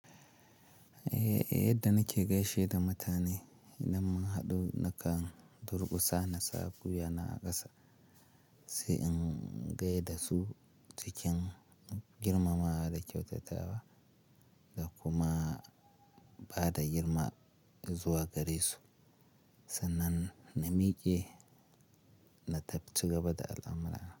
Eh, eh, yadda nake gaishe da mutane, idan mun haɗu nakan durƙusa na sa gwiya na a ƙasa, sai in gaida su cikin girmamawa da kyautatawa, da kuma bada girma zuwa gare su. Sannan, na miƙe, na tabb-- cigaba da al'amurana.